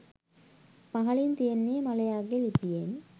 පහලින් තියෙන්නේ මලයාගේ ලිපියෙන්